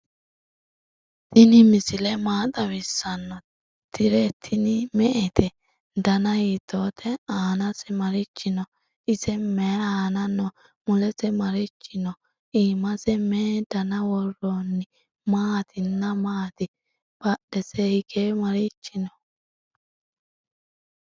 tinni misile maa xawisano? tire tiini me"ette? danna hiitote? annase marichi noo? ise mayi anna noo? mulese marichi noo? imase me"e danna woronni? maatina matti? badesenni hige marichi noo?